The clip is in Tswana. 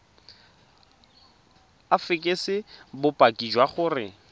o fekese bopaki jwa gore